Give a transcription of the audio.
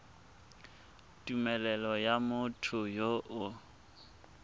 tumelelo ya motho yo o